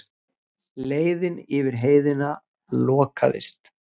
Leiðin yfir Heiðina lokaðist.